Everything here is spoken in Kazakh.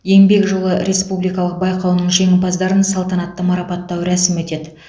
еңбек жолы республикалық байқауының жеңімпаздарын салтанатты марапаттау рәсімі өтеді